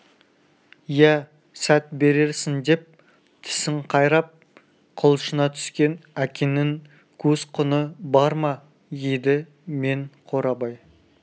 ия сәт берерсің деп тісін қайрап құлшына түскен әкеңнің көз-құны бар ма еді мен қорабай